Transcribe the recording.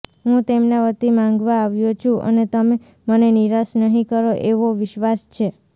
હું તેમના વતી માંગવા આવ્યો છું અને તમે મને નિરાશ નહીં કરો એવો વિશ્વાસ છે